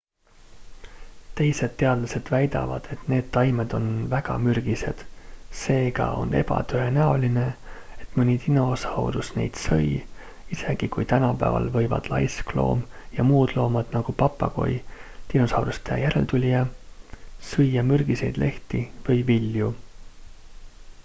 teised teadlased väidavad et need taimed on väga mürgised seega on ebatõenäoline et mõni dinosaurus neid sõi isegi kui tänapäeval võivad laiskloom ja muud loomad nagu papagoi dinosauruse järeltulija süüa mürgiseid lehti või vilju